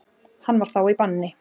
Hann var þá í banni.